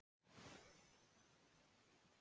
Stórhríð eystra í nótt